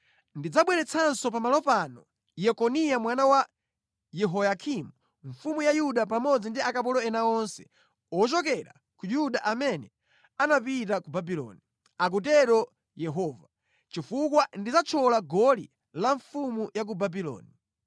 Ndidzabweretsanso pa malo pano Yekoniya mwana wa Yehoyakimu mfumu ya Yuda pamodzi ndi akapolo ena onse ochokera ku Yuda amene anapita ku Babuloni,’ akutero Yehova, ‘chifukwa ndidzathyola goli la mfumu ya ku Babuloni.’ ”